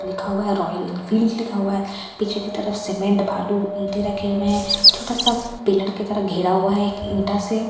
लिखा हुआ है रॉयल इन फील्‍डस लिखा हुआ है पीछे की तरफ सीमेंट भालू ईटें रखी हुई है छोटा सा पिलर की तरफ घेरा हुआ है एक ईटा से --